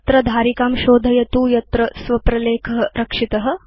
अत्र धारिकां शोधयतु यत्र भवता स्व प्रलेख रक्षित